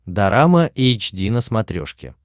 дорама эйч ди на смотрешке